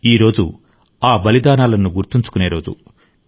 ఈ రోజు ఆ బలిదానాలను గుర్తుంచుకునే రోజు